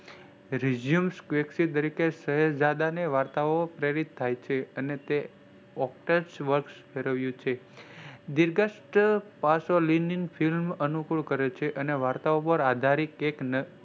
resume સાહિદજાડેને વાર્તાઓ પ્રેરિત થાયછે અને તે ઓક્સટેક્સ વર્સ ધરાવે છે. નિર્લજ્જ પાસો અનુકૂળ કરેછે અને વાર્તાઓ પર આધારિત,